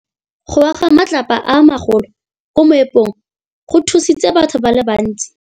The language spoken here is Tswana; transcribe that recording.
Go wa ga matlapa a magolo ko moepong go tshositse batho ba le bantsi.